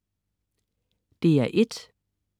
DR1: